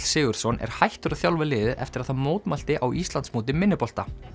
Sigurðsson er hættur að þjálfa liðið eftir að það mótmælti á Íslandsmóti minnibolta